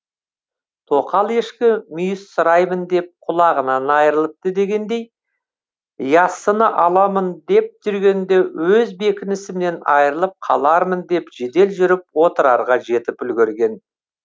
тоқал ешкі мүйіз сұраймын деп құлағынан айрылыпты дегендей яссыны аламын деп жүргенде өз бекінісімнен айрылып қалармын деп жедел жүріп отрарға жетіп үлгерген